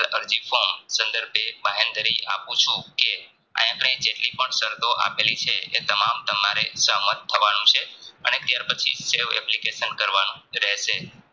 અરજી form સન્દર્ભે બાહેંધરી આપૂ છું કે આયા અપને જેટલી પણ સરતો આપેલી એ તમામ તમારે સંત થવાનું છે અને ત્યાર પછી સેવ application કરવાનું રહેશે.